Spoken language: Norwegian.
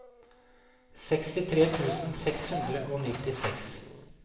sekstitre tusen seks hundre og nittiseks